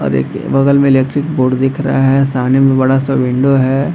और एक बगल में इलेक्ट्रिक बोर्ड दिख रहा है सामने में बड़ा सा विंडो है।